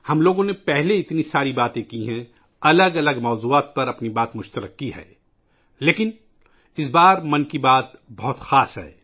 ہم لوگوں نے پہلے اتنی ساری باتیں کی ہیں، الگ الگ موضوعات پر اپنی باتوں کو ساجھا کیا ہے لیکن اس مرتبہ ' من کی بات ' بہت خاص ہے